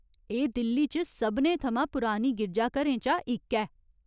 एह् दिल्ली च सभनें थमां पुरानी गिरजाघरें चा इक ऐ।